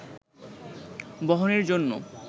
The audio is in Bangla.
বহনের জন্য